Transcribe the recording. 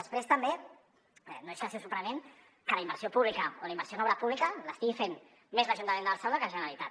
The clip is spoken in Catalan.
després també no deixa de ser sorprenent que la inversió pública o la inversió en obra pública l’estigui fent més l’ajuntament de barcelona que la generalitat